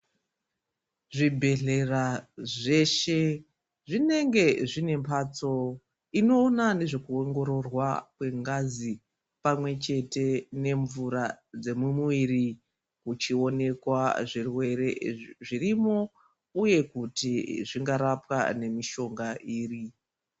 Zvibhedhlera zveshe zvinenge zvine mphatso inoona nezvekuongororwa kwengazi pamwechete nemvura dzemumuwiri uchioneka zvirwere zvirimo uye kuti zvingarapa nemishonga iri.